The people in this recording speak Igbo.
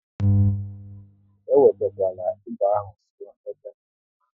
E wetekwala egbe ahụ nso n'ebe m nọ!